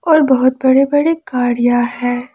और बहोत बड़े बड़े गाड़ियां है।